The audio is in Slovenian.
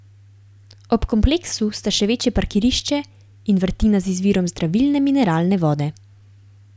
Ob kompleksu sta še večje parkirišče in vrtina z izvirom zdravilne mineralne vode.